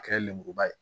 A kɛra lenburuba ye